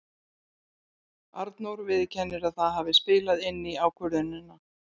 Arnór viðurkennir að það hafi spilað inn í ákvörðunina.